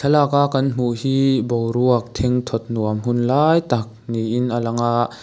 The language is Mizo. lak a kan hmu hi boruak thing thawt nuam hun lâi tak niin a lang a--